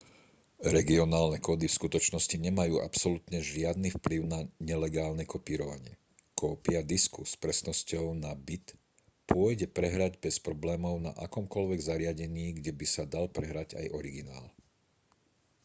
regionálne kódy v skutočnosti nemajú absolútne žiadny vplyv na nelegálne kopírovanie kópia disku s presnosťou na bit pôjde prehrať bez problémov na akomkoľvek zariadení kde by sa dal prehrať aj originál